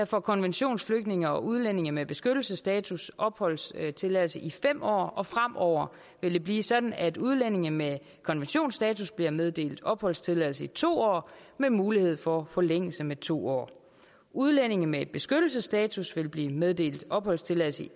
får konventionsflygtninge og udlændinge med beskyttelsesstatus opholdstilladelse i fem år og fremover vil det blive sådan at udlændinge med konventionsstatus bliver meddelt opholdstilladelse i to år med mulighed for forlængelse med to år udlændinge med beskyttelsesstatus vil blive meddelt opholdstilladelse i